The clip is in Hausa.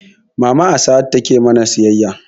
Mama a sahad take mana siyayya